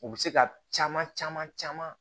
U bɛ se ka caman caman caman